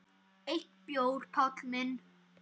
Einn bjór, Páll minn?